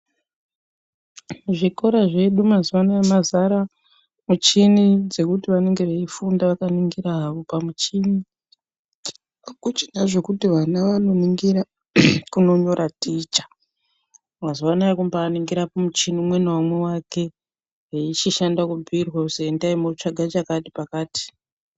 Muzvikora zvedu mazuva anoaya mazara muchini dzekuti vanenge veifunda vakaningira havo pamuchini hakuchina zvekuti vana vanoningira kunonyora ticha mazuvaano ana aya kumbainingira kumuchini umwe naumwe muchini wake wechishanda kubhuyirwa kuti endai munoningira chekuti pakati.